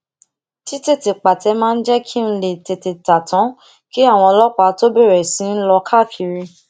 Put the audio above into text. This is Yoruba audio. titete pate máa ń jé kí n lè tete ta tan kí àwọn ọlópàá tó bèrè sí í lọ káàkiri